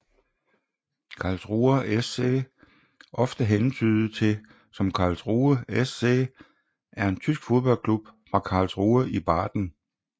Karlsruher SC ofte hentydet til som Karlsruhe SC er en tysk fodboldklub fra Karlsruhe i Baden